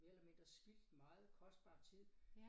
Mere eller mindre spildt meget kostbar tid